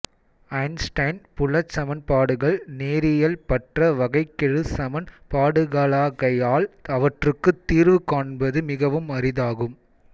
Einstein புலச் சமன்பாடுகள் நேரியல்பற்ற வகைக்கெழு சமன்பாடுகளாகையால் அவற்றுக்குத் தீர்வு காண்பது மிகவும் அரிதாகும்